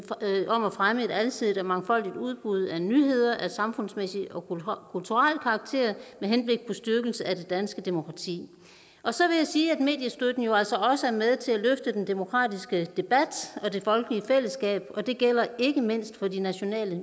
fremme et alsidigt og mangfoldigt udbud af nyheder af samfundsmæssig og kulturel karakter med henblik på styrkelse af det danske demokrati og så vil jeg sige at mediestøtten jo altså også er med til at løfte den demokratiske debat og det folkelige fællesskab og det gælder ikke mindst for de nationale